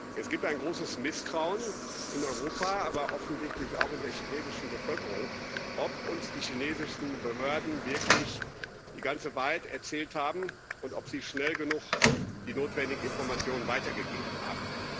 Es gibt ein großes Misstrauen in Europa, aber offensichtlich auch in der chinesischen Bevölkerung, ob uns die chinesischen Behörden wirklich die ganze Wahrheit erzählt haben und ob sie schnell genug die notwendigen Informationen weitergegeben